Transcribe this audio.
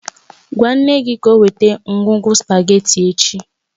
Gwa nne gị ka o weta ngwugwu spaghetti echi